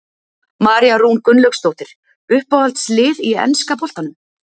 María Rún Gunnlaugsdóttir Uppáhalds lið í enska boltanum?